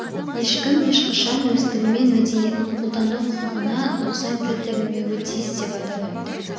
ешкім ешқашан өз тілі мен мәдениетін қолдану құқықығына нұқсан келтірілмеуі тиіс деп атап өтті